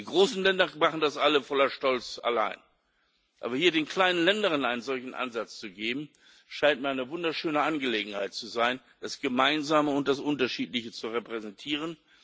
Die großen Länder machen das alle voller Stolz allein. Aber hier den kleinen Ländern einen solchen Ansatz zu geben, scheint mir eine wunderschöne Gelegenheit zu sein, das Gemeinsame und das Unterschiedliche zu repräsentieren.